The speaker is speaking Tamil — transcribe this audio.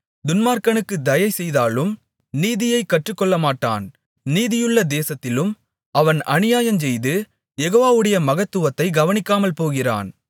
துன்மார்க்கனுக்குத் தயைசெய்தாலும் நீதியைக் கற்றுக்கொள்ளமாட்டான் நீதியுள்ள தேசத்திலும் அவன் அநியாயஞ்செய்து யெகோவாவுடைய மகத்துவத்தைக் கவனிக்காமல்போகிறான்